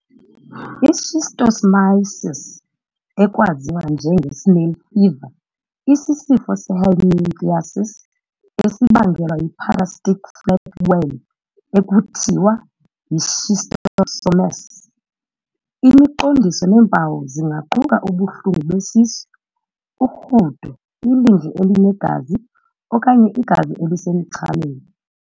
I-Schistosomiasis, ekwaziwa njenge-snail fever, isisifo se-helminthiasis esibangelwa yi-parasitic flatworm ekuthiwa yi-schistosomes. Imiqondiso neempawu zingaquka ubuhlungu besisu, urhudo, ilindle elinegazi, okanye igazi elisemchameni.